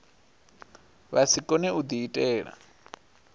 vha si kone u diitela